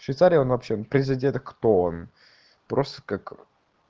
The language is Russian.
швейцария он вообще президента кто он просто как